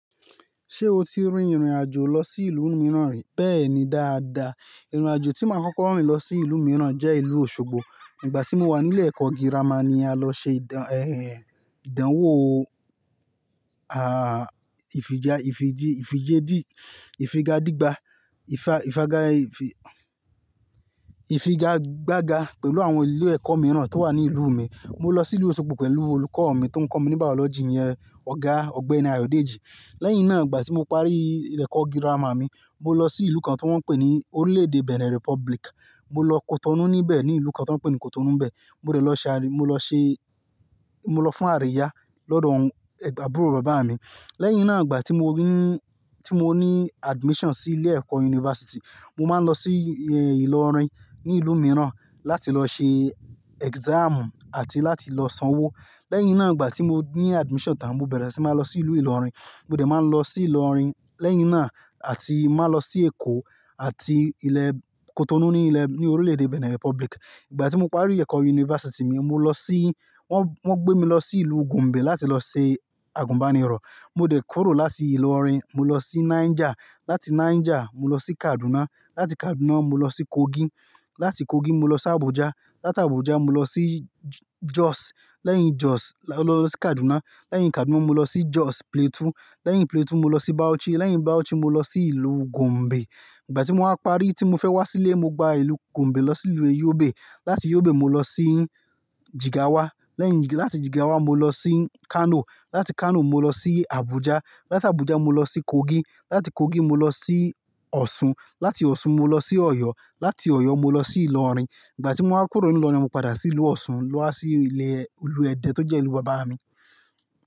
Ṣé o ti rin ìrìnàjò lọ sí ìlú mìíràn rí? Bẹ́ẹ̀ni dáadáa. Ìrìnàjò tí máa kọ́kọ́ rìn lọ sí ìlú mìíràn jẹ́ ìlú Osogbo. Nígbà tí mo wà nílé ẹ̀kọ́ girama ni a lọ ṣe ìdán, ẹh, ìdánwò, à, ìfijá, ìfijí, ìfijédí, ìfigadígba, ifa-ifaga-ifi-ifi pẹ̀lú àwọn ilé ẹ̀kọ́ mìíràn tó wà ní ìlú mi. Mo lọ sí ìlú Osogbo pẹ̀lú olùkọ́ mi tó ń kọ́ mi ní biology iyẹn, Ọ̀gá Ọ̀gbẹ́ni Ayodeji. Lẹ́yìn náà, ìgbà tí mo parí ilé ẹ̀kọ́ girama mi, mo lọ sí ìlú kan tí wọ́n ń pè ní Orílẹ̀-èdè Benin Republic. Mo lọ Cotonou níbẹ̀, ní ìlú kan tí wọ́n ń pè ní Cotonou bẹ. Mo dẹ lọ ṣe àrí, mo lọ ṣe, mo lọ fún àríyá lọ́dọ̀ àwọn ẹgbàá bùrọ̀ bàbá mi. Lẹ́yìn náà, ìgbà tí mo rí, tí mo ní admission sí ilé ẹ̀kọ́ university, mo máa ń lọ sí, ẹ, Ìlọrin ní ìlú mìíràn láti lọ ṣe exam àti láti lọ sanwó. Lẹ́yìn náà, ìgbà tí mo ní admission tán, mo bẹ̀rẹ̀ sí máa lọ sí ìlú Ìlọrin. Mo dẹ̀ máa ń lọ sí Ìlọrin lẹ́yìn náà àti máa lọ sí Èkó àti ilẹ̀ Cotonou ní ilẹ̀, ní Orílẹ̀-èdè Benin Republic. Ìgbà tí mo parí ẹ̀kọ́ university mi, mo lọ sí, wọ́n, wọ́n gbé mi lọ sí ìlú Gombe láti lọ ṣe àgùnbánirọ̀. Mo dẹ̀ kúrò láti Ìlọrin, mo lọ sí Niger. Láti Niger, mo lọ sí Kaduna. Láti Kaduna, mo lọ sí Kogi. Láti Kogi, mo lọ sí Abuja. Láti Abuja, mo lọ sí Jos. Lẹ́yìn Jos, mo lọ lọ sí Kaduna. Lẹ́yìn Kaduna, mo lọ sí Jos Plateau. Lẹ́yìn Plateau, mo lọ sí Bauchi. Lẹ́yìn Bauchi, mo lọ sí ìlú Gombe. Ìgbà tí mo wáa parí tí mo fẹ́ wá sílé, mo gba ìlú Gombe lọ sí ìlú Yobe. Láti Yobe, mo lọ sí Jigawa. Lẹ́yìn, láti Jigawa, mo lọ sí Kano. Láti Kano, mo lọ sí Abuja. Láti Abuja, mo lọ sí Kogi. Láti Kogi, mo lọ sí Osun. Láti Osun, mo lọ sí Ọ̀yọ́. Láti Ọ̀yọ́, mo lọ sí Ìlọrin. Ìgbà tí mo wáa kúrò ní Ìlọrin ni mo padà sí ìlú Osun, lọ wá sí ilẹ̀ ìlú Ẹdẹ tó jẹ́ ìlú bàbá mi.